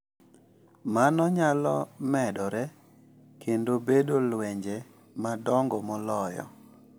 Mano nyalo medore kendo bedo lwenje madongo moloyo.